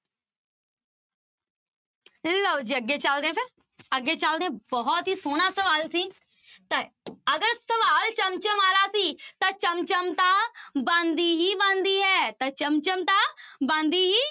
ਲਓ ਜੀ ਅੱਗੇ ਚੱਲਦੇ ਹਾਂ ਫਿਰ ਅੱਗੇ ਚੱਲਦੇ ਹਾਂ ਬਹੁਤ ਹੀ ਸੋਹਣਾ ਸਵਾਲ ਸੀ, ਤਾਂ ਅਗਰ ਸਵਾਲ ਚਮ ਚਮ ਵਾਲਾ ਸੀ ਤਾਂ ਚਮ ਚਮ ਤਾਂ ਬਣਦੀ ਹੀ ਬਣਦੀ ਹੈ ਤਾਂ ਚਮ ਚਮ ਤਾਂ ਬਣਦੀ ਹੀ